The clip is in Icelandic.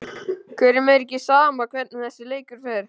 Hverjum er ekki sama hvernig þessi leikur fer?